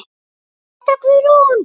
Petra Guðrún.